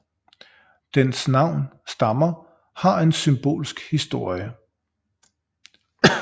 Dens navn stammer har en symbolsk historie